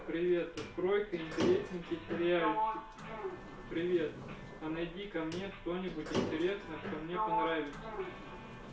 привет открой-ка интересненький сериальчик привет а найди-ка мне что-нибудь интересное что мне понравится